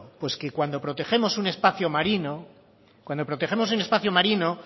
pues que cuando protegemos un espacio marino cuando protegemos un espacio marino